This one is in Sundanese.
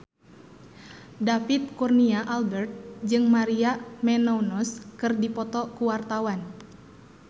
David Kurnia Albert jeung Maria Menounos keur dipoto ku wartawan